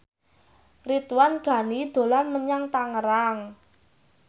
Ridwan Ghani dolan menyang Tangerang